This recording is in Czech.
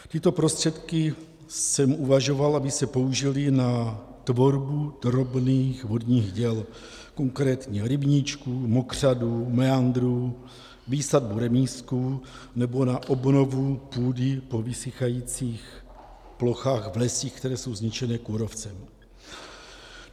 Tyto prostředky jsem uvažoval, aby se použily na tvorbu drobných vodních děl, konkrétně rybníčků, mokřadů, meandrů, výsadbu remízků nebo na obnovu půdy po vysychajících plochách v lesích, které jsou zničené kůrovcem.